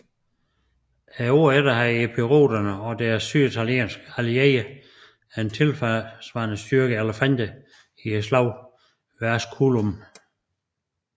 Året efter havde epiroterne og deres syditalienske allierede en tilsvarende styrke elefanter i ved slaget ved Asculum